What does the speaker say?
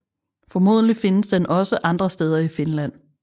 Formodentlig findes den også andre steder i Finland